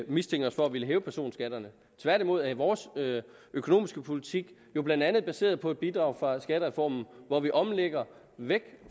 mistænker os for at ville hæve personskatterne tværtimod er vores økonomiske politik jo blandt andet baseret på et bidrag fra skattereformen hvor vi omlægger væk